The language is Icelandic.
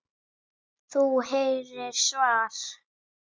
Þú heyrir svar.